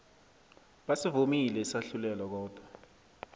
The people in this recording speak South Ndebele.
basivumile isahlulelo kodwa